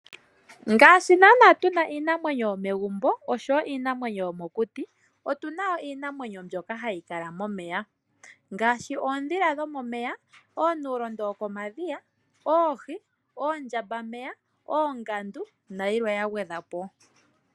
Ngaashi tuna iinamwenyo yo megumbo nosho iinamwenyo yomokuti, otu na woo iinamwenyo mbyoka ha yi kala momeya ngaashi oondhila dhomomeya, oonuulondo wokomadhiya, oohi oondjamba meya , oongandu nayilwe ya gwedhwapo.